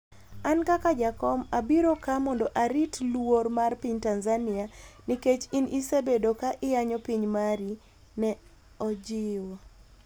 "An kaka jakom abiro ka mondo arit luor mar piny Tanzania, nikech in isebedo ka iyanyo piny mari," ne ojiwo